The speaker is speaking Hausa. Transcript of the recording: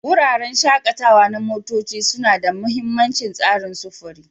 Wuraren shakatawa na motoci suna da mahimmancin tsarin sufuri.